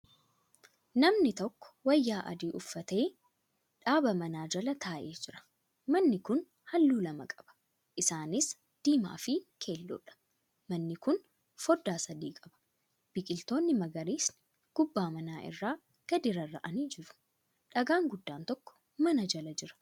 Namni tokko wayyaa adii uffatee dhaabaa manaa Jala taa'ee jira. manni Kuni halluu lama qaba. isaanis:diimaafi keelloodha. manni Kuni foddaa sadi qaba. biqiltoonni magariisni gubbaa manaa irraa gadi rarra'anii jiru. dhagaan guddaan tokko mana Jala Jira.